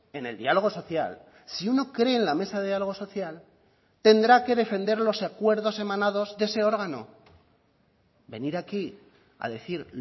en el diálogo social si uno cree en la mesa de diálogo social tendrá que defender los acuerdos emanados de ese órgano venir aquí a decir